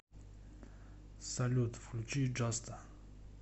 салют включи джаста